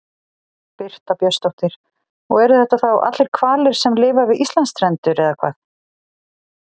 Birta Björnsdóttir: Og eru þetta þá allir hvalir sem lifa við Íslandsstrendur eða hvað?